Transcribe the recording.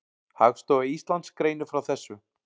Hagstofa Íslands greinir frá þessu.